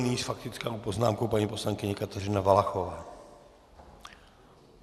Nyní s faktickou poznámkou paní poslankyně Kateřina Valachová.